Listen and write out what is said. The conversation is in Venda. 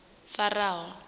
faraho